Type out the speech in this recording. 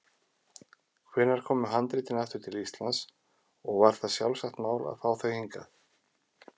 Hvenær komu handritin aftur til Íslands og var það sjálfsagt mál að fá þau hingað?